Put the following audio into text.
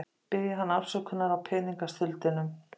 Biðja hann afsökunar á peningastuldinum.